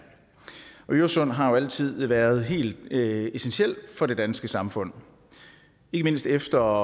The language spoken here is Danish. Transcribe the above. øresund har altid være helt essentielt for det danske samfund ikke mindst efter